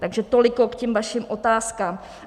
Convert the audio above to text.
Takže toliko k těm vašim otázkám.